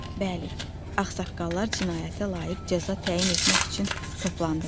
Bəli, ağsaqqallar cinayətə layiq cəza təyin etmək üçün toplandılar.